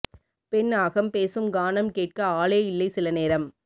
பெண் அகம் பேசும் கானம் கேட்க ஆளே இல்லை சில நேரம்